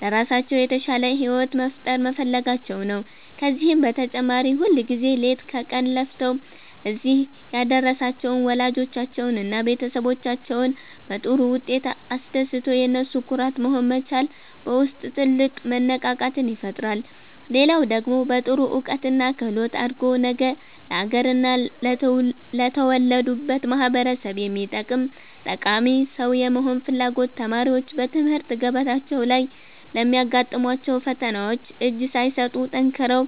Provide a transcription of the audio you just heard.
ለራሳቸው የተሻለ ሕይወት መፍጠር መፈለጋቸው ነው። ከዚህም በተጨማሪ ሁልጊዜ ሌት ከቀን ለፍተው እዚህ ያደረሷቸውን ወላጆቻቸውንና ቤተሰቦቻቸውን በጥሩ ውጤት አስደስቶ የነሱ ኩራት መሆን መቻል በውስጥ ትልቅ መነቃቃትን ይፈጥራል። ሌላው ደግሞ በጥሩ እውቀትና ክህሎት አድጎ ነገ ለአገርና ለተወለዱበት ማኅበረሰብ የሚጠቅም ጠቃሚ ሰው የመሆን ፍላጎት ተማሪዎች በትምህርት ገበታቸው ላይ ለሚያጋጥሟቸው ፈተናዎች እጅ ሳይሰጡ ጠንክረው